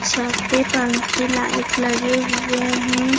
छत पे पंखे लाइट लगे हुए हैं।